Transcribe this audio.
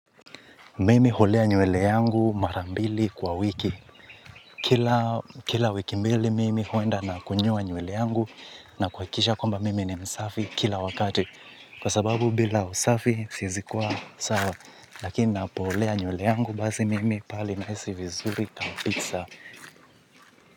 Mimi hulea nywele yangu mara mbili kwa wiki. Kila wiki mbili mimi huenda na kunyoa nywele yangu na kuhakikisha kwamba mimi ni msafi kila wakati. Kwa sababu bila usafi siwezi kuwa sawa. Lakini napolea nyewele yangu basi mimi pale nahisi vizuri kabisa.